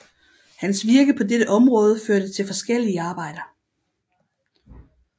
Hans virke på dette område førte til forskellige arbejder